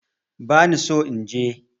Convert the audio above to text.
Bani so inje